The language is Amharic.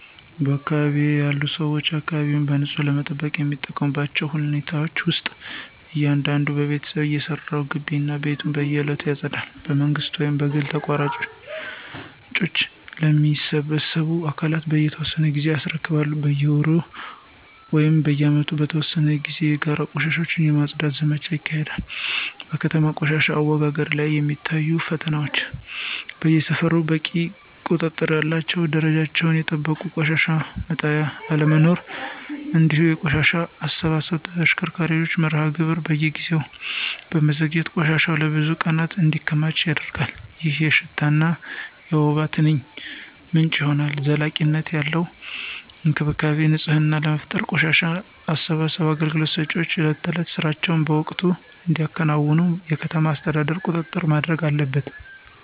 በአካባቢዬ ያሉ ሰዎች አካባቢያቸውን በንጽህና ለመጠበቅ የሚጠቀሙባቸው ሁኔታዎች ውስጥ እያንዳንዱ ቤተሰብ የራሱን ግቢ እና ቤቱን በየዕለቱ ያጸዳል። በመንግሥት ወይም በግል ተቋራጮች ለሚሰበስቡ አካላት በየተወሰነ ጊዜ ያስረክባሉ። በየወሩ ወይም በዓመት በተወሰኑ ጊዜያት የጋራ ቦታዎችን የማፅዳት ዘመቻዎች ይካሄዳሉ። በከተማ ቆሻሻ አወጋገድ ላይ የሚታዩት ፈተናዎች በየሰፈሩ በቂ ቁጥር ያላቸውና ደረጃቸውን የጠበቁ የቆሻሻ መጣያ አለመኖር፤ እንዲሁም የቆሻሻ አሰባሰብ ተሽከርካሪዎች መርሃ ግብር በየጊዜው በመዘግየቱ ቆሻሻ ለብዙ ቀናት እንዲከማች ያደርጋል፣ ይህም የሽታና የወባ ትንኝ ምንጭ ይሆናል። ዘላቂነት ያለው የአካባቢ ንፅህና ለመፍጠር የቆሻሻ አሰባሰብ አገልግሎት ሰጪዎች የዕለት ተዕለት ሥራቸውን በወቅቱ እንዲያከናውኑ የከተማ አስተዳደሩ ቁጥጥር ማድረግ አለበት።